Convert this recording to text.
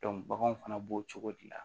baganw fana b'o cogo de la